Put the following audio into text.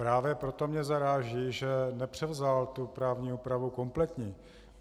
Právě proto mě zaráží, že nepřevzal tu právní úpravu kompletní.